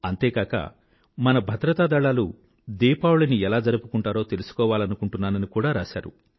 అంతేకాక మన భద్రతా దళాలు దీపావళిని ఎలా జరుపుకుంటారో తెలుసుకోవాలనుకుంటున్నానని కూడా రాశారు